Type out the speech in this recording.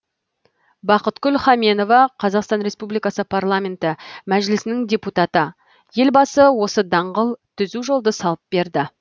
бақытгүл хаменова қазақстан республикасы парламенті мәжілісінің депутаты елбасы осы даңғыл түзу жолды салып берді